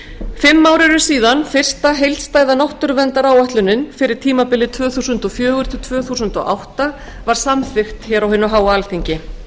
ár eru síðan fyrsta heildstæða náttúruverndaráætlunin fyrir tímabilið tvö þúsund og fjögur til tvö þúsund og átta var samþykkt á alþingi